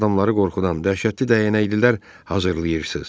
Siz adamları qorxudan dəhşətli dəyənəklilər hazırlayırsız.